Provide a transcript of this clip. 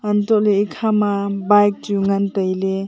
hantoh ley ekha ma bike chu wai ngan tai ley.